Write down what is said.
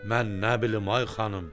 Mən nə bilim ay xanım?